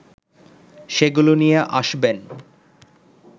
সেগুলো নিয়ে আসবেন